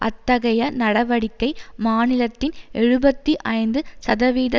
அத்தகைய நடவடிக்கை மாநிலத்தின் எழுபத்தி ஐந்து சதவீத